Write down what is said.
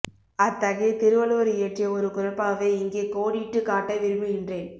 அத்தகைய திருவள்ளுவர் இயற்றிய ஒரு குறட்பாவை இங்கே கோடிட்டுக் காட்ட விரும்புகின்றேன்